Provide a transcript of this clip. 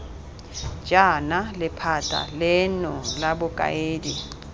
jaana lephata leno la bokaedi